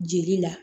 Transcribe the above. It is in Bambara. Jeli la